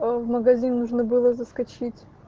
в магазин нужно было заскочить